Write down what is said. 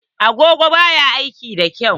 Agogon ba ya aiki da kyau.